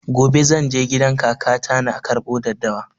Gobe zan je gidan kaka ta na karɓo daddawa